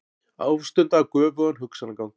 Ástunda göfugan hugsanagang.